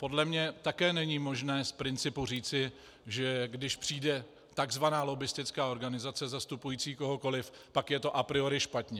Podle mě také není možné z principu říci, že když přijde tzv. lobbistická organizace zastupující kohokoliv, pak je to a priori špatně.